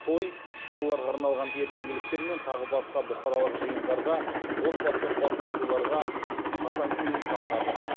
той балаларға арналған ертеңгіліктер мен тағы басқа бұқаралық жиындарға отбасылық басқосуларға қатаң тыйым салынады